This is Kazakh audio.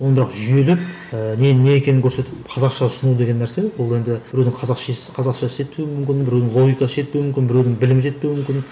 ондағы жүйелеп ііі ненің не екенін көрсетіп қазақша ұсыну деген нәрсе ол енді біреудің қазақшасы жетпеуі мүмкін біреудің логикасы жетпеуі мүмкін біреудің білімі жетпеуі мүмкін